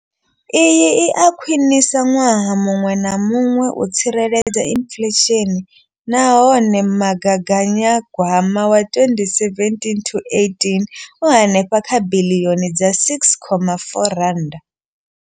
Iyi i a khwiniswa ṅwaha muṅwe na muṅwe u tsireledza inflesheni nahone magaganyagwama wa 2017,18 u henefha kha biḽioni dza R6.4.